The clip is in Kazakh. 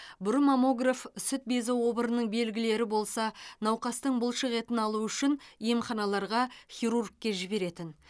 бұрын маммограф сүт безі обырының белгілері болса науқастың бұлшық етін алу үшін емханаларға хирургке жіберетін